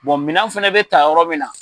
minan fɛnɛ bɛ ta yɔrɔ min na.